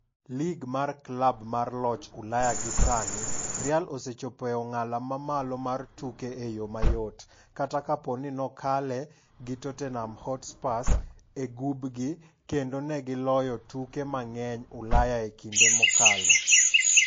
Lig mar klab mar joloch Ulaya gi sani, Real osechopo e ong'ala mamalo mar tukego e yoo mayot, kata kapo ni nokaale gi Tottenham Hotspur e gubgi - kendo negi loyo tuke mang'eny Ulaya e kinde mokalo.